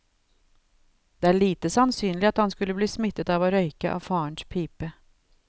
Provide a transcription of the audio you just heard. Det er lite sannsynlig at han skulle bli smittet av å røyke av farens pipe.